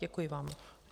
Děkuji vám.